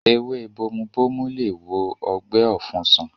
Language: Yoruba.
Ewé bomubomu lè wo ọgbẹ́ ọ̀fun sàn